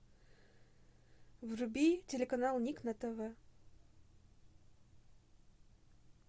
вруби телеканал ник на тв